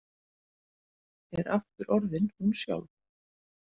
Er aftur orðin hún sjálf.